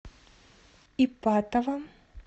ипатово